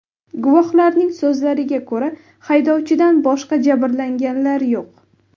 Guvohlarning so‘zlariga ko‘ra, haydovchidan boshqa jabrlanganlar yo‘q.